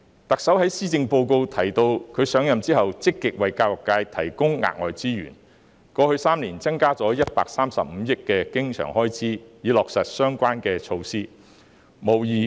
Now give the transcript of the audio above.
特首在施政報告中提及，她上任後積極為教育界提供額外資源，過去3年增加了135億元的經常開支，以落實相關措施。